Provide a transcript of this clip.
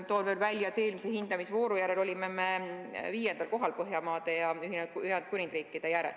Toon veel välja, et eelmise hindamisvooru järel olime me viiendal kohal Põhjamaade ja Ühendkuningriigi järel.